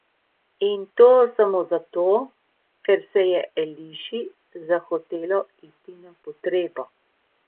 In to samo zato, ker se je Eliši zahotelo iti na potrebo.